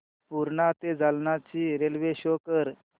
पूर्णा ते जालना ची railway show कर